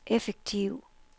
effektiv